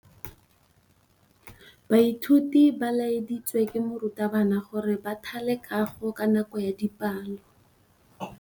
Baithuti ba laeditswe ke morutabana gore ba thale kagô ka nako ya dipalô.